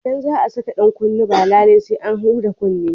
Idan za a saka dan kunne ba lallai sai an huda kunnen ba.